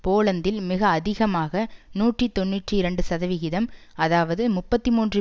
போலந்தில் மிக அதிகமாக நூற்றி தொன்னூற்றி இரண்டு சதவிகிதம் அதாவது முப்பத்தி மூன்று